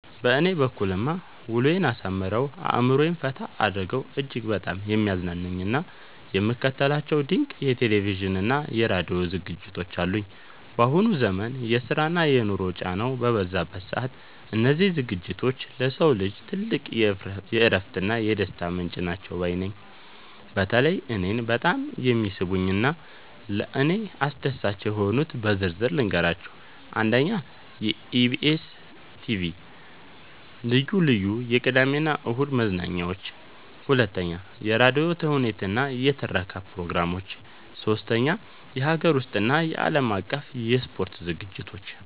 በእኔ በኩልማ ውሎዬን አሳምረው፣ አእምሮዬን ፈታ አድርገው እጅግ በጣም የሚያዝናኑኝና የምከታተላቸው ድንቅ የቴሌቪዥንና የራዲዮ ዝግጅቶች አሉኝ! ባሁኑ ዘመን የስራና የኑሮ ጫናው በበዛበት ሰዓት፣ እነዚህ ዝግጅቶች ለሰው ልጅ ትልቅ የእረፍትና የደስታ ምንጭ ናቸው ባይ ነኝ። በተለይ እኔን በጣም የሚስቡኝንና ለእኔ አስደሳች የሆኑትን በዝርዝር ልንገራችሁ፦ 1. የኢቢኤስ (EBS TV) ልዩ ልዩ የቅዳሜና እሁድ መዝናኛዎች 2. የራዲዮ ተውኔቶችና የትረካ ፕሮግራሞች 3. የሀገር ውስጥና የዓለም አቀፍ የስፖርት ዝግጅቶች